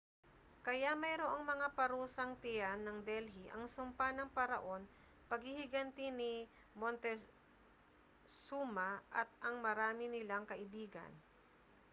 kaya mayroong mga parusang tiyan ng delhi ang sumpa ng paraon paghihiganti ni montezuma at ang marami nilang kaibigan